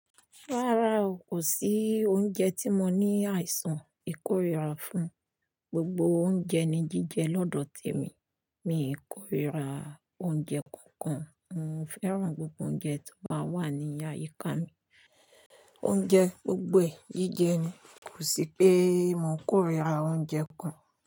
Rárá o, kò sí oúnjẹ tí mo ní àìsàn ìkórìíra fún. Gbogbo oúnjẹ ni jíjẹ lọ́dọ̀ te mi. Mi kò ríra oúnjẹ kankan. Mo fẹ́ràn gbogbo oúnjẹ tó bá wà ní àyíká mi. Oúnjẹ gbogbo ẹ jíjẹ ni, kò sí pé mò ń kórìíra oúnjẹ kan.